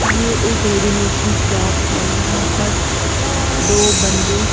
ये एक रेडीमेड की शॉप है यहां पर दो बंदे--